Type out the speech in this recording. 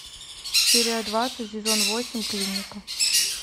серия двадцать сезон восемь клиника